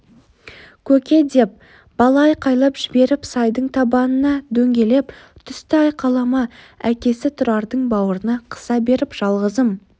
көке деп бала айқайлап жіберіп сайдың табанына дөңгелеп түсті айқайлама әкесі тұрарды бауырына қыса беріп жалғызым